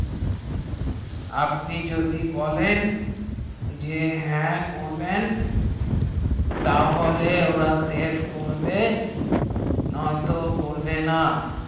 আপনি যদি বলেন যে হ্যাঁ করবেন তাহলে ওরা save করবে নয় তো করবে না